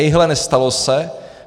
Ejhle, nestalo se.